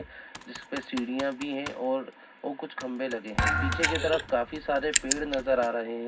जिस पे सीढियां भी हैं और ओ कुछ खंभे लगे हैं। पीछे की तरफ काफी सारे पेड़ नज़र आ रहे हैं।